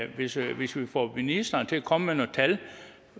hvis hvis vi får ministeren til at komme med nogle tal